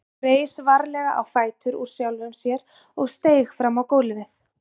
Hann reis varlega á fætur úr sjálfum sér og steig fram á gólfið.